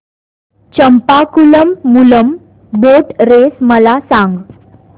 Champakulam Moolam boat race मला सांग